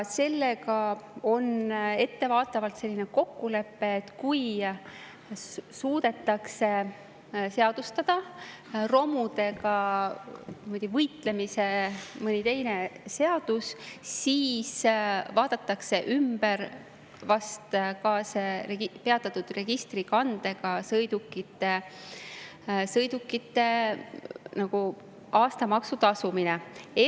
Sellega on ettevaatavalt selline kokkulepe, et kui suudetakse romudega võitlemiseks mõni teine seadus, siis ehk vaadatakse see peatatud registrikandega sõidukite aastamaksu tasumine üle.